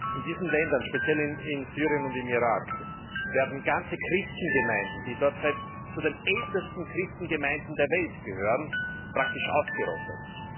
In diesen Ländern, speziell in Syrien und im Irak, werden ganze Christengemeinden, die dort zu den ältesten Christengemeinden der Welt gehören, praktisch ausgerottet.